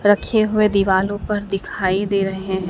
रखे हुए दीवालों पर दिखाई दे रहे हैं।